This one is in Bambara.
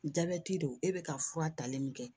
Jabɛti don e bɛ ka fura tali min kɛ